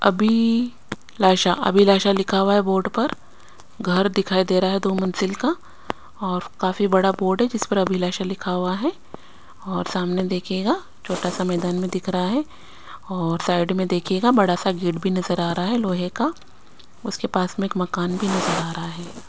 अभी लाशा अभिलाषा लिखा हुआ है बोर्ड पर घर दिखाई देरा है दो मंजिल का ओर काफी बड़ा बोर्ड है जिसपर अभिलाषा लिखा हुआ है और सामने दिखाएगा छोटा सा मैदान दिख रहा है और साइड में देखियेगा बड़ा सा गेट भी नजर आरा है लोहे का उसके पास में एक मकान भी नजर आरा है।